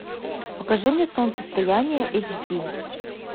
покажи мне солнцестояние эйч ди